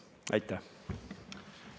Aitäh!